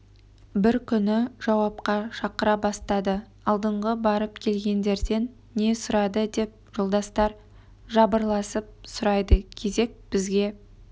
бір күні жауапқа шақыра бастады алдыңғы барып келгендерден не сұрады деп жолдастар жабырласып сұрайды кезек бізге